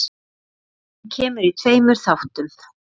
Hún kemur í tveimur þáttum.